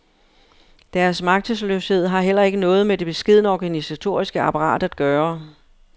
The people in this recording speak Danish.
Deres magtesløshed har heller ikke noget med det beskedne organisatoriske apparat at gøre.